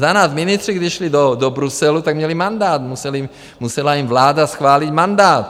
Za nás ministři, když šli do Bruselu, tak měli mandát, musela jim vláda schválit mandát.